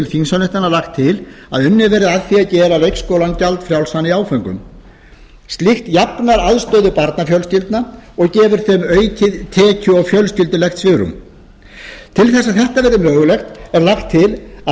þingsályktunar lagt til að unnið verði að því að gera leikskólann gjaldfrjálsan í áföngum slíkt jafnar aðstöðu barnafjölskyldna og gefur þeim aukið tekju og fjölskyldulegt svigrúm til að þetta verði mögulegt er lagt til að